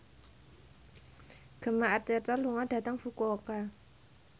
Gemma Arterton lunga dhateng Fukuoka